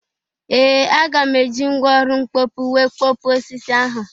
Ee! Aga m e ji mgwa ọlụ mkpopu wee kpọpuo osisi ahụ.